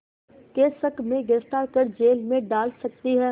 के शक में गिरफ़्तार कर जेल में डाल सकती थी